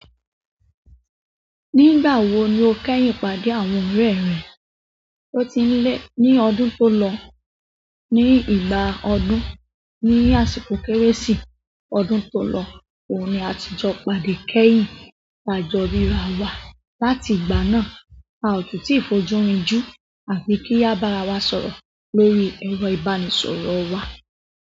Nígbà wo ni o kẹ́yìn pàdé àwọn ọ̀rẹ́ rẹ? O ti ń lẹ̀ ní ọdún tó lọ, ní ìgbà ọdún, ní àsìkò Kérésì ọdún tó lọ. Òun ní a ti jọ pàdé kẹ́yìn a jó rírà wa. Láti ìgbà náà, a ò tún ti fojú rinju àfi kí a bá ara wa sọ̀rọ̀ lórí ẹ̀rọ ìbánisọ̀rọ̀ wa.